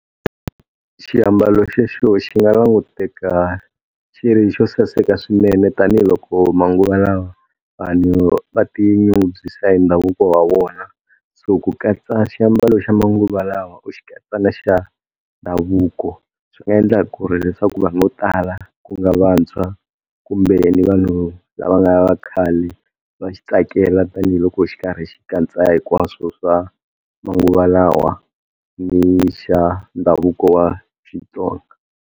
Xiambalo xexo xi nga languteka xi ri xo saseka swinene tanihiloko manguva lawa vanhu va tinyungubyisa hi ndhavuko wa vona. So ku katsa xiambalo xa manguva lawa u xi katsa na xa ndhavuko, swi nga endla ku ri leswaku vanhu vo tala ku nga vantshwa kumbe ni vanhu lava nga vakhale va xi tsakela tanihiloko xi karhi xi katsa hinkwaswo swa manguva lawa ni xa ndhavuko wa Xitsonga.